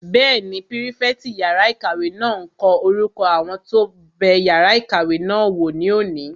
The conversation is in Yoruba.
Bẹ́ẹ̀ni, pírífẹ̀tì yàrá-ìkàwé náà n kọ orúkọ àwọn tó bẹ yàrá ìkàwé náà wò ní òní